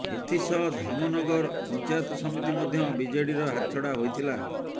ଏଥିସହ ଧାମନଗର ପଂଚାୟତ ସମିତି ମଧ୍ୟ ବିଜେଡିର ହାତଛଡା ହୋଇଥିଲା